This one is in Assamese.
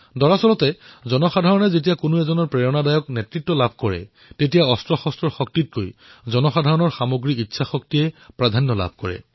প্ৰকৃততে যেতিয়া জনতাই প্ৰেৰণাদায়ী নেতৃত্ব লাভ কৰে তেতিয়া অস্ত্ৰৰ শক্তিৰ ওপৰত জনতা শক্তি অধিক শক্তিশালী হৈ পৰে